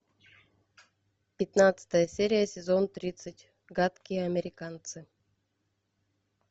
пятнадцатая серия сезон тридцать гадкие американцы